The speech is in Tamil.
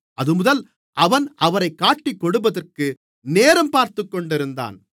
அதுமுதல் அவன் அவரைக் காட்டிக்கொடுப்பதற்கு நேரம் பார்த்துக்கொண்டிருந்தான்